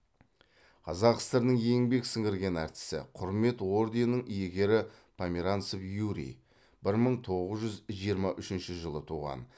қазақ сср інің еңбек сіңірген артисі құрмет орденінің иегері померанцев юрий бір мың тоғыз жүз жиырма үшінші жылы туған